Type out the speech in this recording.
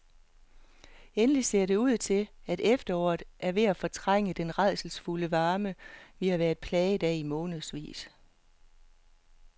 Endelig ser det ud til, at efteråret er ved at fortrænge den rædselsfulde varme, vi har været plaget af i månedsvis.